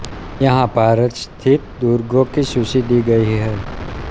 यहाँ भारत स्थित दुर्गों की सूची दी गयी है